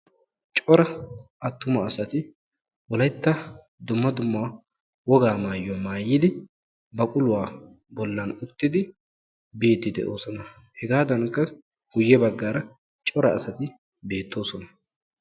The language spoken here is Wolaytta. cora attumaasay wolaytta dumma dumma wogaa maayyuwa maayyidi baqulluwaa bollan uttid biide doosona; hegadankka guyye baggara cora asati beettoosona.